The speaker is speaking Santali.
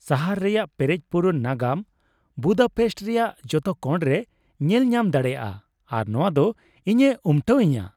ᱥᱟᱦᱟᱨ ᱨᱮᱭᱟᱜ ᱯᱮᱨᱮᱡᱼᱯᱩᱨᱩᱱ ᱱᱟᱜᱟᱢ ᱵᱩᱫᱟᱯᱮᱥᱴ ᱨᱮᱭᱟᱜ ᱡᱚᱛᱚ ᱠᱚᱬᱨᱮ ᱧᱮᱞ ᱧᱟᱢ ᱫᱟᱲᱮᱭᱟᱜᱼᱟ ᱟᱨ ᱱᱚᱣᱟᱫᱚ ᱤᱧᱮ ᱩᱢᱴᱟᱹᱣ ᱤᱧᱟᱹ ᱾